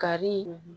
Kari